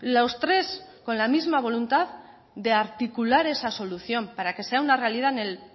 los tres con la misma voluntad de articular esa solución para que sea una realidad en el